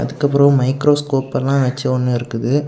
அதுக்கப்பறம் மைக்ரோஸ்கோப் எல்லா வெச்சொன்னு இருக்குது.